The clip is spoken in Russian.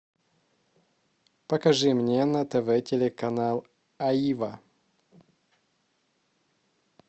покажи мне на тв телеканал аива